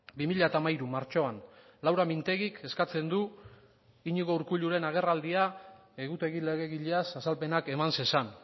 bi mila hamairu martxoan laura mintegik eskatzen du iñigo urkulluren agerraldia egutegi legegileaz azalpenak eman zezan